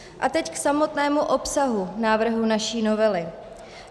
A teď k samotnému obsahu návrhu naší novely.